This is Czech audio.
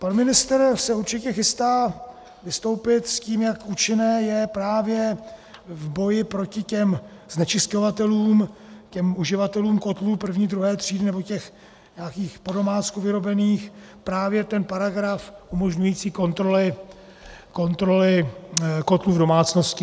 Pan ministr se určitě chystá vystoupit s tím, jak účinný je právě v boji proti těm znečisťovatelům, těm uživatelům kotlů první, druhé třídy nebo těch nějakých podomácku vyrobených, právě ten paragraf umožňující kontroly kotlů v domácnosti.